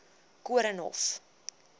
koornhof